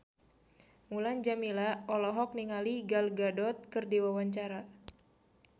Mulan Jameela olohok ningali Gal Gadot keur diwawancara